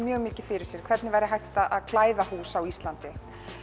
mikið fyrir sér hvernig væri hægt að klæða hús á Íslandi